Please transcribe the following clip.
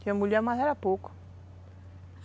Tinha mulher, mas era pouco.